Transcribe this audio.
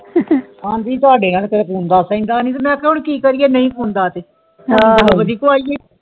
ਐਂਡੀ ਤੁਹਾਡੇ ਮਈ ਕਿਹਾ ਕਿ ਕਰੀਏ ਨੀ ਸੁਣਦਾ ਤੇ